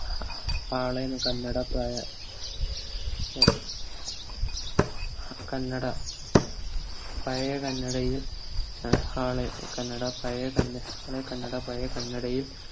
ആളെന്ന് കന്നട പഴയ കന്നഡ പയേ കന്നടയിൽ ആളെ കന്നഡ പഴേ കന്നഡ പഴേ കന്നഡയിൽ